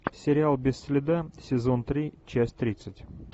сериал без следа сезон три часть тридцать